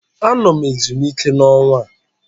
Anọ m ezumike n'ọnwa a